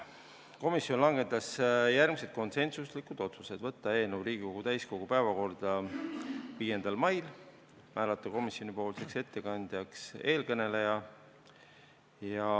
Komisjon langetas järgmised konsensuslikud otsused: saata eelnõu Riigikogu täiskogu päevakorda 5. maiks, määrata komisjoni ettekandjaks siinkõneleja.